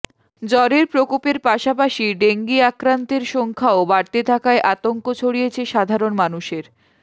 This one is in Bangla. জ্বরের প্রকোপের পাশাপাশি ডেঙ্গি আক্রান্তের সংখ্যাও বাড়তে থাকায় আতঙ্ক ছড়িয়েছে সাধারণ মানুষের